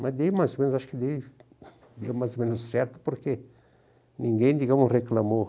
Mas daí mais o menos, acho que daí acho que deu mais ou menos certo, porque ninguém digamos, reclamou.